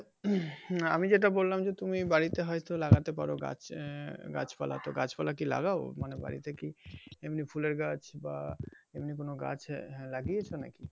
আমি যেটা বললাম যে তুমি বাড়িতে হয়তো লাগাতে পারো গাছ আহ গাছপালা তো গাছপালা কি লাগাও মানে বাড়িতে কি এমনি ফুলের গাছ বা এমনি কোন গাছ লাগিয়েছ নাকি